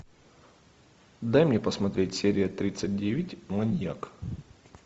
дай мне посмотреть серия тридцать девять маньяк